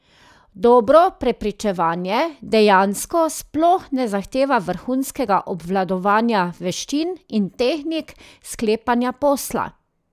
Dobro prepričevanje dejansko sploh ne zahteva vrhunskega obvladovanja veščin in tehnik sklepanja posla.